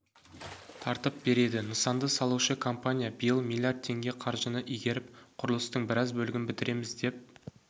тартып береді нысанды салушы компания биыл млрд теңге қаржыны игеріп құрылыстың біраз бөлігін бітіреміз деп